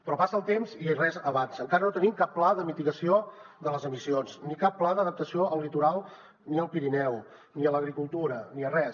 però passa el temps i res avança encara no tenim cap pla de mitigació de les emissions ni cap pla d’adaptació al litoral ni al pirineu ni a l’agricultura ni a res